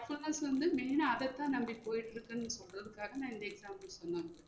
class வந்து main ஆ அத தான் நம்பி போயிற்றுக்குன்னு சொல்றதுக்காக நா இந்த example சொன்னன்